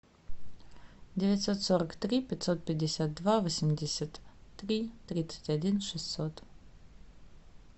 девятьсот сорок три пятьсот пятьдесят два восемьдесят три тридцать один шестьсот